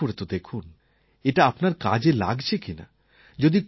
চেষ্টা করে তো দেখুন এটা আপনার কাজে লাগছে কিনা